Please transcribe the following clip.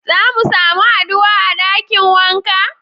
Za mu samu haduwa a dakin waka?